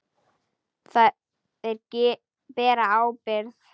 Þeir bera ábyrgð.